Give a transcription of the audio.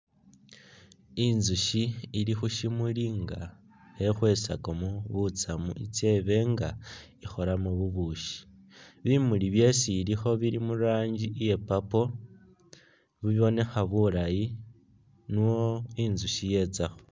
Intsushi ili khu’shimuli nga khe khwesakamo butsamu itse ibe nga ikholamo bubushi bimuli byesi ilikho bili mu’ranji iya purple , bibonekha bulayi nio intsushi yetsakho.